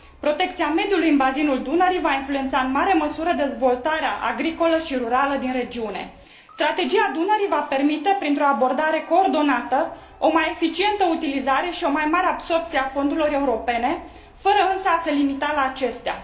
Protecția mediului în bazinul Dunării va influența în mare măsură dezvoltarea agricolă și rurală din regiune. Strategia Dunării va permite, printr o abordare coordonată, o mai eficientă utilizare și o mai mare absorbție a fondurilor europene, fără însă a se limita la acestea.